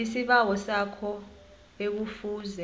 isibawo sakho ekufuze